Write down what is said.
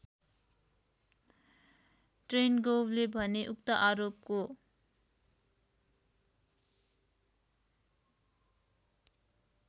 ट्रेनगोभले भने उक्त आरोपको